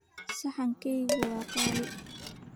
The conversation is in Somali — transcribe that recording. Saxankaygu waa qaali.